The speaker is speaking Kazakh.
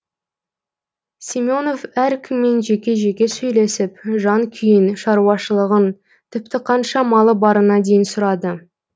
семенов әркіммен жеке жеке сөйлесіп жан күйін шаруашылығын тіпті қанша малы барына дейін сұрады